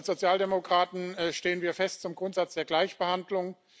Als Sozialdemokraten stehen wir fest zum Grundsatz der Gleichbehandlung.